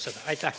Aitäh!